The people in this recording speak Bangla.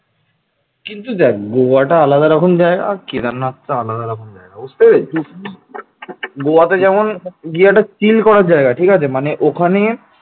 কিন্তু দেখ গোয়াটা আলাদা রকম জায়গা কেদারনাথটা আলাদা রকম জায়গা বুঝতে পেরেছিস, গোয়াতে যেমন একটা chill করার জায়গা মানে ওখানে